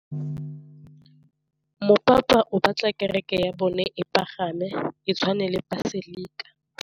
Mopapa o batla kereke ya bone e pagame, e tshwane le paselika.